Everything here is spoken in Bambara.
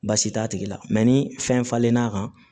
Baasi t'a tigi la ni fɛn falen n'a kan